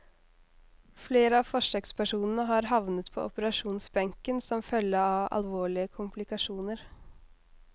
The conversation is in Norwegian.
Flere av forsøkspersonene har havnet på operasjonsbenken som følge av alvorlige komplikasjoner.